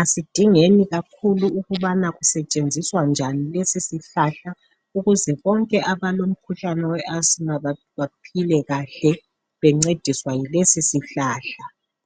Asidingeni kakhulu ukuba sitshenziswa njani lesisihlahla ukuze bonke abale asima baphephe kulo umkhuhlane.